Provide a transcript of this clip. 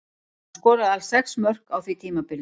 Hann skoraði alls sex mörk á því tímabili.